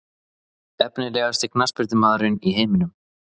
Efnilegasti knattspyrnumaðurinn í heiminum?